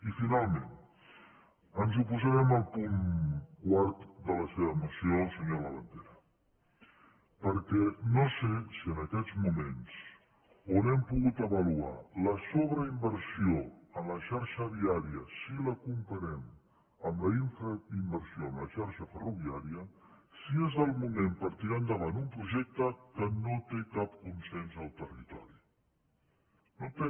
i finalment ens oposarem al punt quart de la seva moció senyor labandera perquè no sé si en aquests moments on hem pogut avaluar la sobreinversió en la xarxa viària si la comparem amb la infrainversió en la xarxa ferroviària és el moment per tirar endavant un projecte que no té cap consens al territori no en té